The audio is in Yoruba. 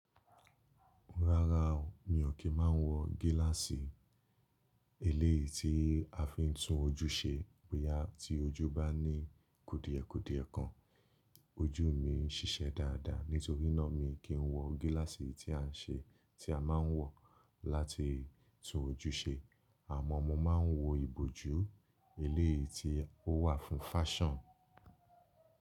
Rárá o, mi ò kí má wọ gíláàsì eléyìí tí a fi ń tún ojú ṣe bóyá tí ojú bá ní kudìẹ̀kudìẹ̀ kan, ojú mi ń ṣiṣẹ́ dáadáa nítorí ná mi kì ń wọ gíláàsì tí a ń ṣe ti a máa ń wọ láti tún ojú ṣe. Àmọ́ mo máa ń wọ ìbòjú eléyìí tí ó wà fún fáṣàn.